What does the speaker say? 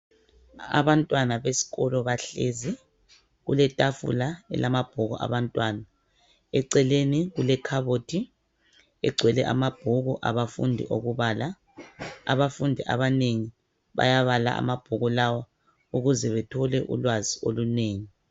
Abantwana besikolo bahlezi kuletafula elamabhuku abantwana. Eceleni kulekhabothi egcwele amabhuku abafundi okubala. Abafundi abanengi bayabala amabhuku lawa ukuze bethole ulwazi olunengi.